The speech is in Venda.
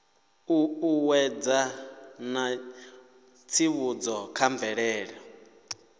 ṱuṱuwedza na tsivhudzo kha mvelelo